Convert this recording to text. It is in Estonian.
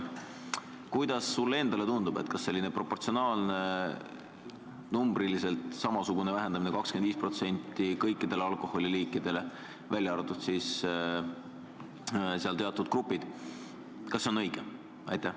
Kuidas sulle endale tundub, kas selline numbriliselt samasugune vähendamine 25% kõikidel alkoholiliikidel, v.a siis seal teatud grupid, on õige?